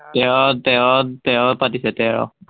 তেৰ তেৰ তেৰ পাতিছে তেৰ